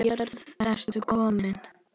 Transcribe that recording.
Af jörðu ertu kominn.